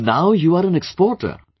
So, now you are an exporter